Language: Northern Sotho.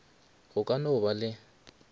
go ka no ba le